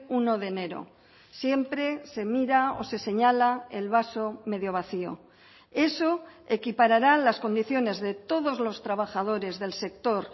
uno de enero siempre se mira o se señala el vaso medio vacío eso equiparará las condiciones de todos los trabajadores del sector